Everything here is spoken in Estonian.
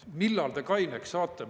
Millal te kaineks saate?